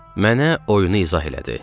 Mənə oyunu izah elədi.